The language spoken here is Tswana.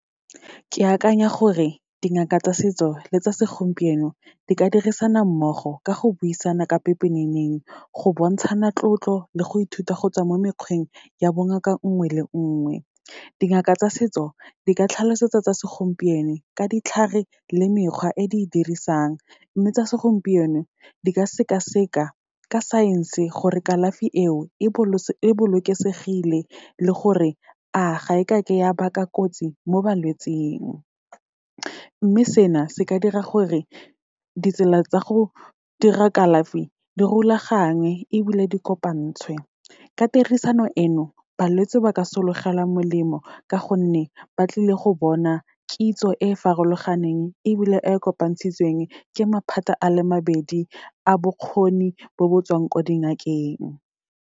Ke akanya gore, dingaka tsa setso le tsa segompieno di ka dirisana mmogo ka go buisana ka pepeneneng, go bontshana tlotlo, le go ithuta gotswa mo mekgweng ya bongaka nngwe le nngwe. Dingaka tsa setso, di ka tlhalosetsa tsa segompieno ka ditlhare le mekgwa e di e dirisang. Mme tsa segompieno, di ka sekaseka ka science-e gore kalafi eo, e bolokesegile, le gore a ga e kake ya baka kotsi mo balwetsing. Mme sena, se ka dira gore ditsela tsa go dira kalafi di rulagangwe, ebile di kopantshwe. Ka tirisano eno, balwetse ba ka sologela molemo, ka gonne ba tlile go bona kitso e farologaneng ebile e kopantshitsweng ke maphata a le mabedi, a bokgoni bo bo tswang kwa di ngakeng.